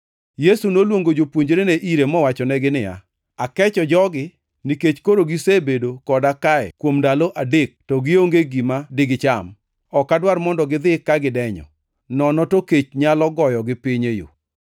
Yesu noluongo jopuonjrene ire mowachonegi niya, “Akecho jogi nikech koro gisebedo koda kae kuom ndalo adek to gionge gi gima digicham. Ok adwar mondo gidhi ka gidenyo, nono to kech nyalo goyogi piny e yo.”